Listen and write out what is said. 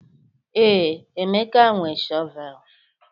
Ee. Emeka nwe shọvel